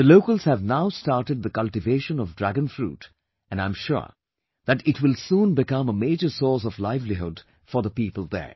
The locals have now started the cultivation of Dragon fruit and I am sure that it will soon become a major source of livelihood for the people there